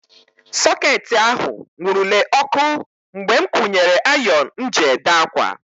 Soketị ahụ nwurule ọkụ mgbe m kwunyere ayon m ji ede ákwà.